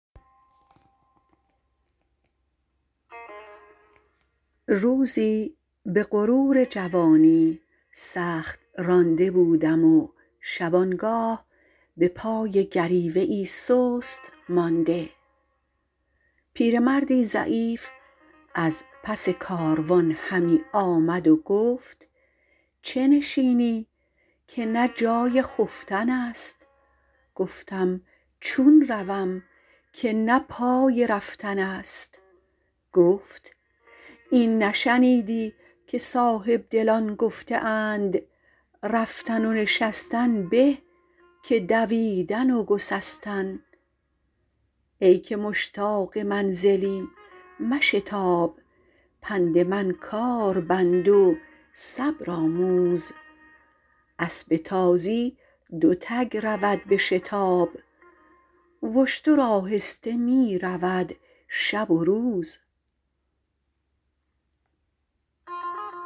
روزی به غرور جوانی سخت رانده بودم و شبانگاه به پای گریوه ای سست مانده پیرمردی ضعیف از پس کاروان همی آمد و گفت چه نشینی که نه جای خفتن است گفتم چون روم که نه پای رفتن است گفت این نشنیدی که صاحبدلان گفته اند رفتن و نشستن به که دویدن و گسستن ای که مشتاق منزلی مشتاب پند من کار بند و صبر آموز اسب تازی دو تگ رود به شتاب و اشتر آهسته می رود شب و روز